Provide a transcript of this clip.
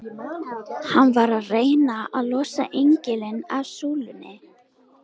Hann var að reyna að losa engilinn af súlunni!